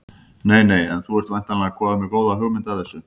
Nei nei En þú ert væntanlega kominn með góða hugmynd að þessu?